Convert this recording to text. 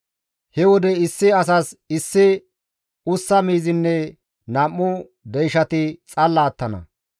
He wode issi asas issi ussa miizinne nam7u deyshati xalla attana.